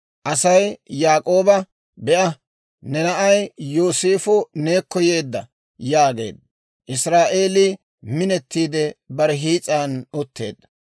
Aasi Yaak'ooba, «Be'a; ne na'ay Yooseefo neekko yeedda» yaageedda; Israa'eelii minettiide bare hiis'an utteedda.